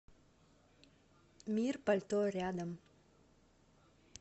мир пальто рядом